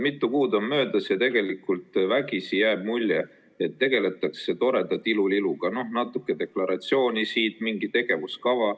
Mitu kuud on möödas ja vägisi jääb mulje, et tegeldakse toreda tiluliluga: natuke deklaratsiooni, mingi tegevuskava.